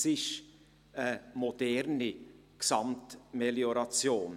Es ist eine moderne Gesamtmelioration.